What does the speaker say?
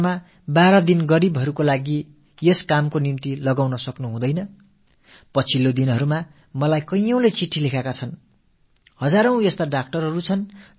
எனது மருத்துவ சகோதர சகோதரியர்கள் ஓராண்டில் 12 நாட்கள் ஏழைகளுக்காக இந்தப் பணியில் தங்களை அர்ப்பணித்துக் கொள்ள முடியாதா கடந்த நாட்களில் பலர் எனக்கு கடிதம் எழுதியிருக்கிறார்கள்